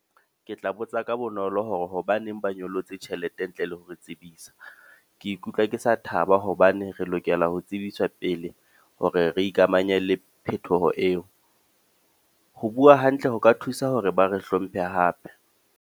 Ke tla botsa ka bonolo hore hobaneng ba nyollotse tjhelete ntle le ho re tsebisa. Ke ikutlwa ke sa thaba hobane re lokela ho tsebiswa pele hore re ikamanye le phethoho eo. Ho bua hantle ho ka thusa hore ba re hlomphe hape.